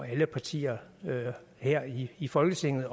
alle partier her i folketinget